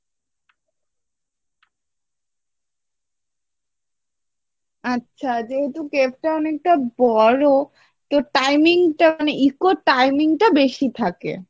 আছে যেহেতু অনেকটা বড়ো তো timing টা eco timing টা বেশি থাকে।